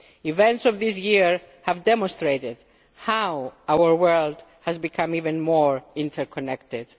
Events of this year have demonstrated how our world has become even more interconnected.